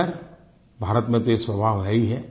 खैर भारत में तो ये स्वाभाव है ही है